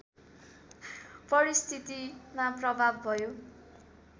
परिस्थितिमा प्रभाव भयो